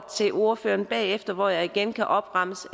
til ordføreren bagefter hvor jeg igen kan opremse